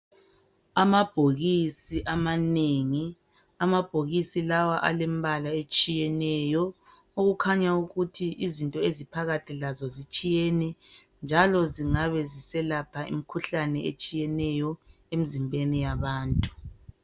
Amabhokisi amanengi. Amabhokisi lawa alembale etshiyeneyo, okukhanya ukuthi izinto eziphakathi lazo zitshiyene njalo zingabe ziselapha imikhuhlane etshiyeneyo emzimbeni yabantu.